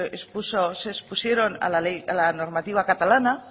se expusieron a la normativa catalana